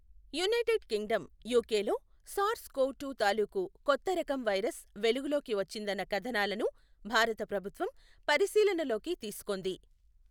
United Kingdom యుకెలో SARS CoV two తాలూకు కొత్త రకం వైరస్ వెలుగు లోకి వచ్చిందన్న కథనాలను భారత ప్రభుత్వం పరిశీలనలోకి తీసుకొంది.